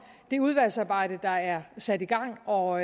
det udvalgsarbejde der er sat i gang og